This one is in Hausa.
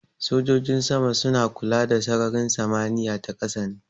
Sojojin sama suna kula da sararin samaniya ta ƙasa ne.